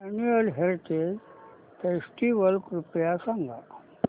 annual heritage festival कृपया सांगा